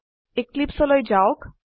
এক্লিপছে লৈ যাওক